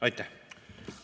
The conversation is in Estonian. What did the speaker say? Aitäh!